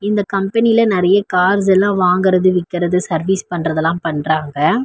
இந்த கம்பெனியில நெறைய கார்ஸ் எல்லா வாங்கறது விக்கறது சர்வீஸ் பண்றது எல்லா பண்றாங்க.